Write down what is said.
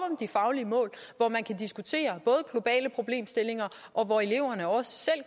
de faglige mål hvor man kan diskutere både globale problemstillinger og hvor eleverne også selv